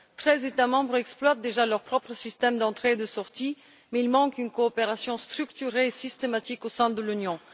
Treize États membres exploitent déjà leur propre système d'entrée sortie, mais il manque une coopération structurée et systématique au sein de l'Union